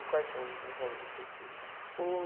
E quais são o nomes dos seus filhos? O